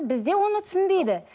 бізде оны түсінбейді